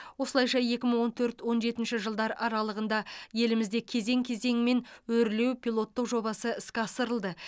осылайша екі мың он төрт он жетінші жылдар аралығында елімізде кезең кезеңімен өрлеу пилоттық жобасы іске асырылды